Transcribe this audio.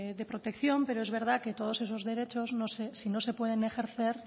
de protección pero es verdad que todos esos derechos si no se pueden ejercer